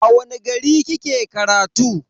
A wani gari kike karatu?